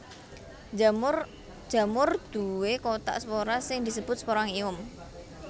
Jamur duwé kothak spora sing disebut sporangium